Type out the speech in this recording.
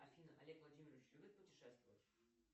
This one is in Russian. афина олег владимирович любит путешествовать